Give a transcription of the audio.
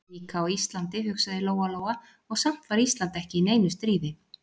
Líka á Íslandi, hugsaði Lóa-Lóa, og samt var Ísland ekki í neinu stríði.